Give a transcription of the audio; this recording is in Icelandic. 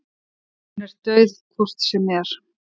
Hún er dauð hvort sem er.